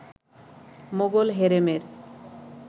Mughal হেরেমের